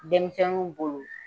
Denmisɛnninw bolo.